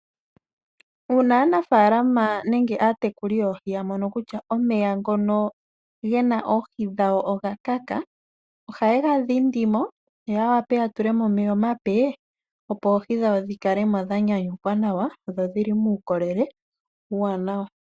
Uuna aanafaalama nenge aatekuli yoohi ya mono kutya omeya ngono ge na oohi dhawo oga kaka ohaye ga dhindi mo yo ya wape okutula mo omeya gamwe omape, opo oohi dhawo dhi kale mo dha nyanyukwa nawa dho odhi li muukolele uuwanawa.